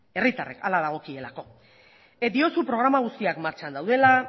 herritarrek hala dagokielako diozu programa auziak martxan daudela